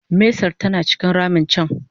mesar tana cikin ramin can